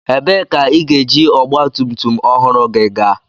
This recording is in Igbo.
Ebee ka ị ga-eji ọgba tum tum ọhụrụ gị gaa?